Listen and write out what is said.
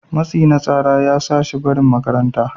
matsi na tsara ya sa shi barin makaranta